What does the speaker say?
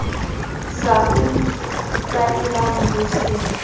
sa o tlwaelang ho se